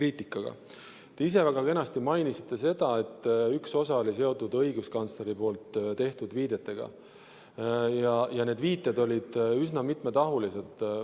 Te ise väga kenasti mainisite seda, et üks osa oli seotud õiguskantsleri tehtud viidetega ja need viited olid üsna mitmetahulised.